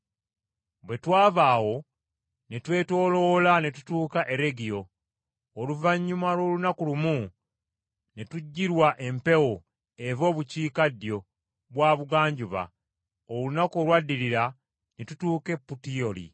Bwe twava awo ne twetooloola ne tutuuka e Regio. Oluvannyuma lw’olunaku lumu ne tujjirwa empewo eva obukiikaddyo bwa bugwanjuba, olunaku olwaddirira ne tutuuka e Putiyooli.